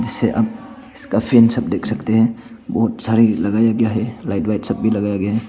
इससे आप काफी देख सकते हैं बहुत सारे लगाया गया है लाइट वाइट सब भी लगाया गया है।